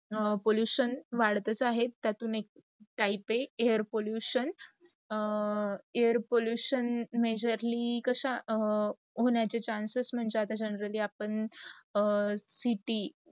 pollution वाढतातच आहे तयातुन् एक type ही air pollution. air pollution majorly कशा होण्याच चान्स म्हणजे generally city